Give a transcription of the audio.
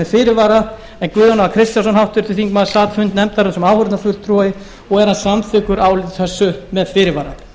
með fyrirvara en guðjón a kristjánsson háttvirtur þingmaður sat fund nefndarinnar sem áheyrnarfulltrúi og er hann samþykkur áliti þessu með fyrirvara